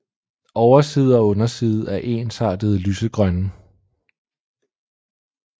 Overside og underside er ensartet lysegrønne